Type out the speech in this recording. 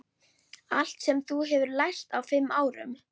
Allt sem þú hefur lært á fimm árum.